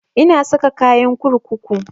Na saka kayan kurkuku